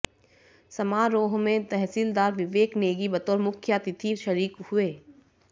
समारोह में तहसीलदार विवेक नेगी बतौर मुख्यातिथि शरीक हुए